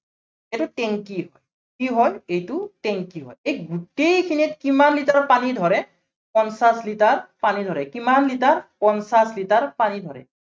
এইটো টেংকী, কি হয় এইটো টেংকী হয়, এই গোটেইখিনিত কিমান লিটাৰ পানী ধৰে, পঞ্চাশ লিটাৰ পানী ধৰে, কিমান লিটাৰ, পঞ্চাশ লিটাৰ পানী ধৰে।